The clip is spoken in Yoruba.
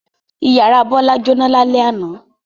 Ìyàrá Bọ́lá jóná lálẹ́ àná.